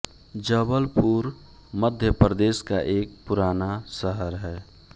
जबलपुर मध्य प्रदेश का एक पुराना शहर है